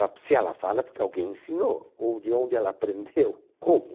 Ah porque se ela fala é porque alguém ensinou, ou de onde ela aprendeu, como?